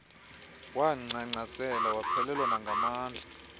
wangcangcazela waphelelwa nangamandla